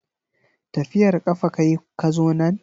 Tafiyar kafa kayi ka zo nan?